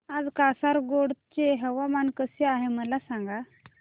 आज कासारगोड चे हवामान कसे आहे मला सांगा